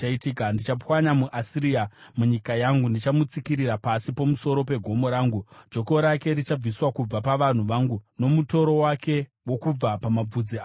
Ndichapwanya muAsiria munyika yangu; ndichamutsikirira pasi pamusoro pegomo rangu. Joko rake richabviswa kubva pavanhu vangu, nomutoro wake wokubva pamabvudzi avo.”